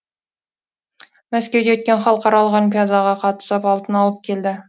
мәскеуде өткен халықаралық олимпиадаға қатысып алтын алып келді